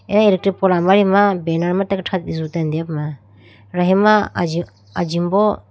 Eye eletir poll amari ma banner ma thrate jutene deyipuma yahima ajimbo.